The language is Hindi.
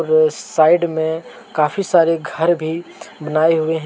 साइड में काफी सारे घर भी बनाए हुए हैं।